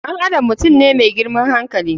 Ɗan adam mutum ne da girman hankali.